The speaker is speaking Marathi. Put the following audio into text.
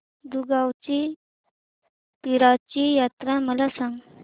दुगावची पीराची यात्रा मला सांग